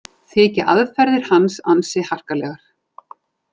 Þykja aðferðir hans ansi harkalegar